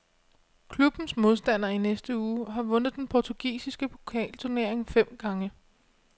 Klubbens modstander i næste uge har vundet den portugisiske pokalturnering fem gange.